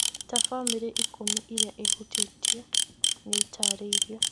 Ta bamĩrĩ ikũmi irĩa ihutĩtio nĩ itarĩirio